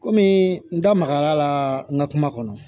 Kɔmi n da magara la n ka kuma kɔnɔ